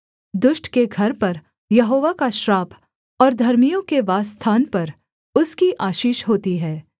दुष्ट के घर पर यहोवा का श्राप और धर्मियों के वासस्थान पर उसकी आशीष होती है